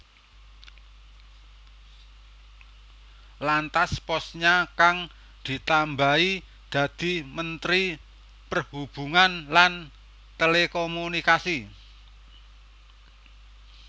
Lantas posnya kang ditambahi dadi Menteri Perhubungan lan Telekomunikasi